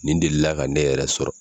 Nin delila ka ne yɛrɛ sɔrɔ